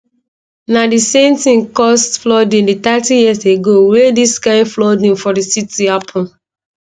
na di same tin cause flooding di thirty years ago wey dis kain flooding for di city happun